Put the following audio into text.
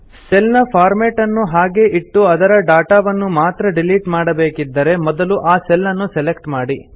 cell ನ format ನ್ನು ಹಾಗೇ ಇಟ್ಟು ಅದರ ಡಾಟಾ ವನ್ನು ಮಾತ್ರ ಡಿಲೀಟ್ ಮಾಡಬೇಕಿದ್ದರೆ ಮೊದಲು ಆ ಸೆಲ್ ನ್ನು ಸೆಲೆಕ್ಟ್ ಮಾಡಿ